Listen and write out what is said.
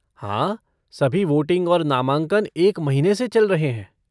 हाँ, सभी वोटिंग और नामांकन एक महीने से चल रहे हैं।